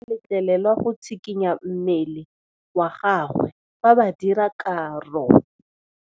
Modise ga a letlelelwa go tshikinya mmele wa gagwe fa ba dira karô.